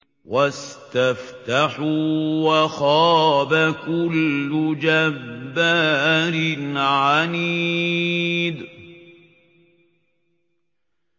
وَاسْتَفْتَحُوا وَخَابَ كُلُّ جَبَّارٍ عَنِيدٍ